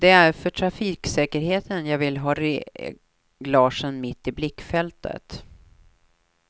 Det är för trafiksäkerheten jag vill ha reglagen mitt i blickfältet.